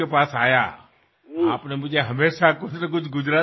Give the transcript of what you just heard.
আপোনাৰ চিঠি মই পাই থাকো আৰু কিবা নহয় কিবা এটা উপহাৰ আপোনাৰ পৰা মই পায়েই থাকো